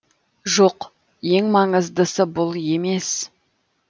жоқ ең маңыздысы бұл емес